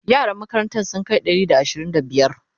yaran makarantan sun Kai Ɗari da ashirin da biyar?